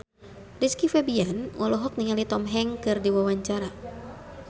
Rizky Febian olohok ningali Tom Hanks keur diwawancara